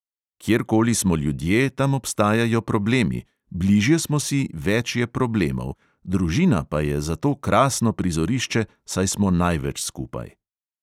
Kjerkoli smo ljudje, tam obstajajo problemi, bližje smo si, več je problemov, družina pa je za to krasno prizorišče, saj smo največ skupaj.